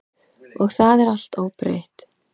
Og það er allt óbreytt.